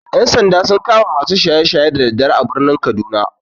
Ƴan-sanda sun kama masu shaye-shaye da daddare a birnin kaduna.